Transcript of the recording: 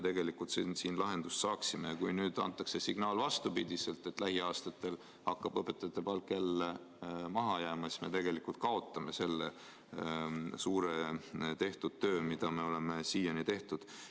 Kui nüüd antakse vastupidine signaal, et lähiaastatel hakkab õpetajate palk jälle maha jääma, siis me tegelikult kaotame suure osa tööst, mida oleme siiani teinud.